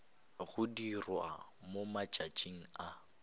go dirwa mo matšatšing a